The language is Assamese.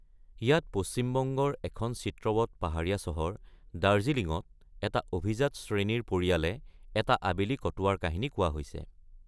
ইয়াত পশ্চিমবংগৰ এখন চিত্ৰৱৎ পাহাৰীয়া চহৰ, দাৰ্জিলিঙত এটা অভিজাত শ্ৰেণীৰ পৰিয়ালে এটা আবেলি কটোৱাৰ কাহিনী কোৱা হৈছে।